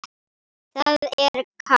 Það er kalt.